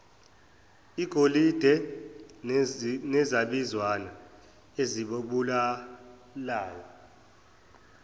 igolide nezabizwana ezibalulayo